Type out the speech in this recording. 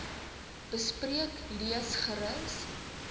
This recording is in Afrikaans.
bespreek lees gerus